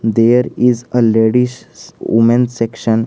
there is a ladies women section.